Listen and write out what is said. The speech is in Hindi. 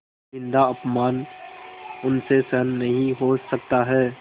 निन्दाअपमान उनसे सहन नहीं हो सकता है